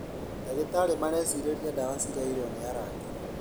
Ndagĩtarĩ marecirĩria dawa ciraiyirwo nĩ arangĩri